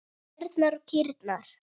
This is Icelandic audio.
Ærnar og kýrnar.